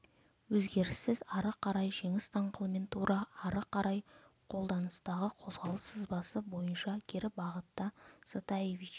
өзгеріссіз ары қарай жеңіс даңғылымен тура ары қарай қолданыстағы қозғалыс сызбасы бойынша кері бағытта затаевич